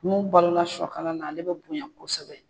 Mun balola sɔkala la ale bɛ bonya kosɛbɛ.